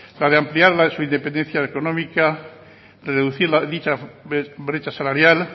la de ampliar la de su independencia económica reducir dicha brecha salarial